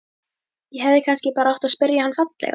Ég hefði kannski bara átt að spyrja hann fallega?